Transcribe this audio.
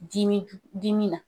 Dimi dimi na.